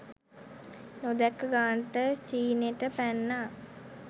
නොදැක්ක ගානට චීනෙට පැන්නා.